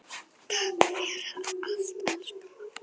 Takk fyrir allt elsku mamma.